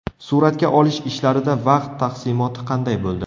Suratga olish ishlarida vaqt taqsimoti qanday bo‘ldi?